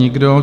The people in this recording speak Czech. Nikdo.